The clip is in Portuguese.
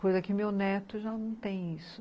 Coisa que meu neto já não tem isso.